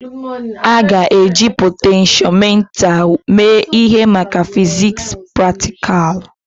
A ga-eji potentiomita mee ihe maka fiziks praktikal?